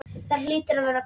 Það hlýtur að vera gott.